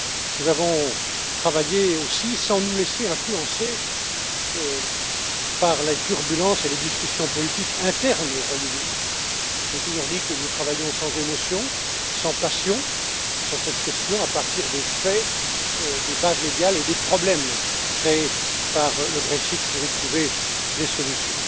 Nous avons travaillé aussi sans nous laisser influencer par les turbulences et les discussions politiques internes au Royaume Uni. J'ai toujours dit que nous travaillions sans émotion, sans passion sur cette question, à partir des faits, des bases légales et des problèmes créés par le Brexit pour y trouver des solutions.